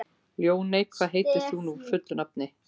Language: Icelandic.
Ljóney, hvað heitir þú fullu nafni?